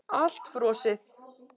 Allt frosið.